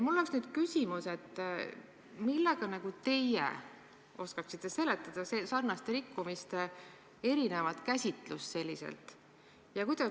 Mul on nüüd küsimus: kuidas teie oskate sarnaste rikkumiste nii erinevat käsitlust seletada?